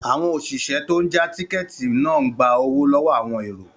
Àwọn òṣìṣẹ́ tó n já tíkẹ́ẹ̀tì náà ń gba owó lọ́wọ́ àwọn èrò